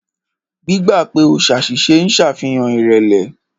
Gbígbà pè o ṣàṣìṣe ń ṣàfihàn ìrẹ̀lẹ̀.